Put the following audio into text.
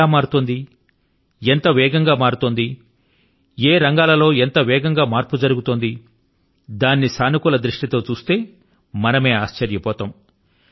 ఎలా మారుతోంది ఎంత వేగం గా మారుతోంది ఏ రంగాల లో ఎంత వేగం గా మార్పు చోటు చేసుకొంటోంది దానిని సానుకూల దృష్టి తో చూస్తే మనమే ఆశ్చర్యపోతాం